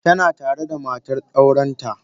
Tana tare da matar aurenta.